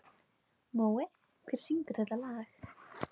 Mói, hver syngur þetta lag?